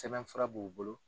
Sɛbɛn fura b'u bolo.